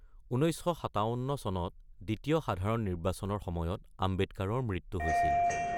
১৯৫৭ চনত দ্বিতীয় সাধাৰণ নিৰ্বাচনৰ সময়ত, আম্বেদকাৰৰ মৃত্যু হৈছিল।